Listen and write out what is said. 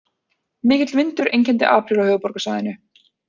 Mikill vindur einkenndi apríl á höfuðborgarsvæðinu